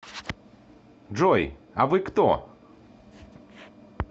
джой а вы кто